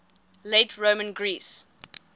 late roman greece